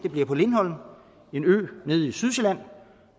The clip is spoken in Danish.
er på lindholm en ø nede ved sydsjælland